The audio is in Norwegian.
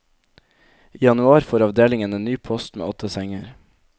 I januar får avdelingen en ny post med åtte senger.